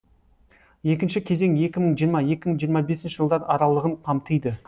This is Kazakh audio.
екінші кезең екі мың жиырма екі мың жиырма бесінші жылдар аралығын қамтиды